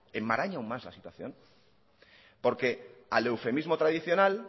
enmaraña aún más la situación porque al eufemismo tradicional